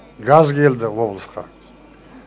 газ келді облысқа